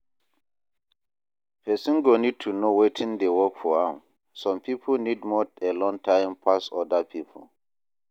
Person go need to know wetin dey work for am, some pipo need more alone time pass oda pipo